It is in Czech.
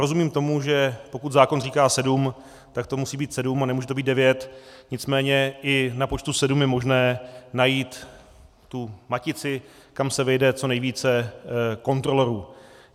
Rozumím tomu, že pokud zákon říká sedm, tak to musí být sedm a nemůže to být devět, nicméně i na počtu sedm je možné najít tu matici, kam se vejde co nejvíce kontrolorů.